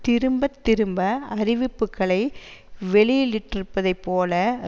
திரும்ப திரும்ப அறிவிப்புக்களை வெளியிலிட்டிருப்பதைப்போல